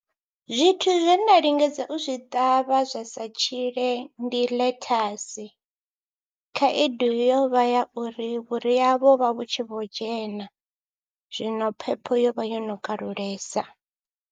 Zwithu zwe nda lingedza u zwi ṱavha zwa sa tshile ndi ḽethasi, khaedu yo vha ya uri vhuria vho vha vhu tshi vho dzhena, zwino phepho yo vha yo no kalulesa.